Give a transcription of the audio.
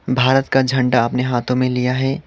भारत का झंडा अपने हाथों में लिया है।